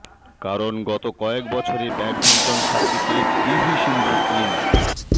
কারণ গত কয়েক বছরে ব্যাডমিন্টন সার্কিটে পিভি সিন্ধু এম